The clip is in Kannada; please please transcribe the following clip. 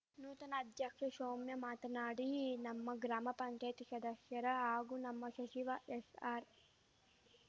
ನೂತನ ಅಧ್ಯಕ್ಷೆ ಶೌಮ್ಯ ಮಾತನಾಡಿ ನಮ್ಮ ಗ್ರಾಮ ಪಂಚಾಯಿತಿ ಶದಸ್ಯರ ಹಾಗೂ ನಮ್ಮ ಶಚಿವ ಎಶ್ ಆರ್